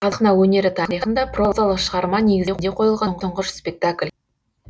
қазақ сахна өнері тарихында прозалық шығарма негізінде қойылған тұңғыш спектакль